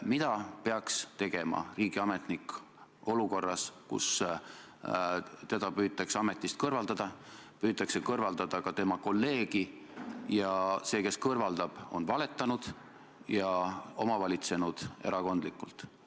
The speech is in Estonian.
Mida peaks tegema riigiametnik olukorras, kus teda püütakse ametist kõrvaldada, püütakse kõrvaldada ka tema kolleegi ja see, kes kõrvaldab, on erakondlikult valetanud ja omavolitsenud?